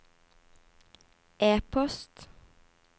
e-post